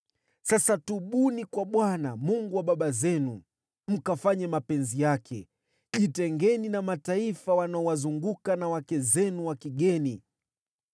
Sasa tubuni kwa Bwana , Mungu wa baba zenu mkafanye mapenzi yake. Jitengeni na mataifa wanaowazunguka na wake zenu wa kigeni.”